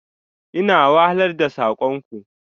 Ina wahalar da sakon ku.